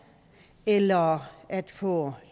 eller at få